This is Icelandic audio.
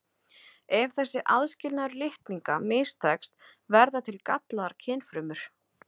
Ef þessi aðskilnaður litninga mistekst verða til gallaðar kynfrumur.